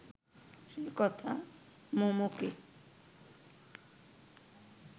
সে কথা মমকে